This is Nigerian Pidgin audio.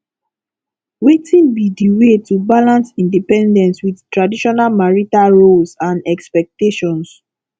wetin be di way to balance independence with traditional marital roles and expectations